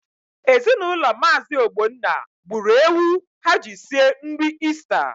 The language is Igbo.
Ezinaụlọ Maazi Ogbonna gburu ewu ha ji sie nri Ista.